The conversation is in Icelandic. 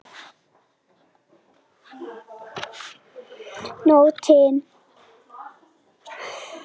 Nóttin bræddi hjarta mitt.